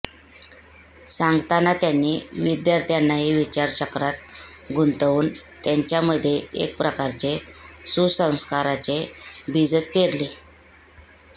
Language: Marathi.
सांगताना त्यांनी विद्यार्थ्यांनाही विचार चक्रात गुंतवून त्यांच्यामध्ये एकप्रकारचे सुसंस्काराचे बीजच पेरले